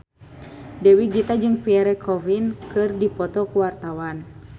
Dewi Gita jeung Pierre Coffin keur dipoto ku wartawan